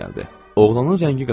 Oğlanın rəngi qaçmışdı.